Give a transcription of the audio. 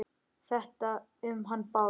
Þetta um hann Bárð?